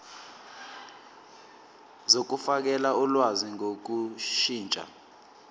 zokufakela ulwazi ngokushintsha